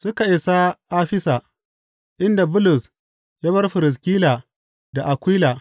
Suka isa Afisa, inda Bulus ya bar Firiskila da Akwila.